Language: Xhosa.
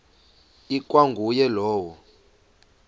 ikwa nguye lowo